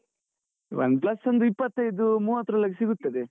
OnePlus ಒಂದು ಇಪ್ಪತೈದುಮೂವತರೊಳ್ಗೆ ಸಿಗುತ್ತದೆ.